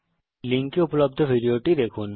এই লিঙ্কে উপলব্ধ ভিডিওটি দেখুন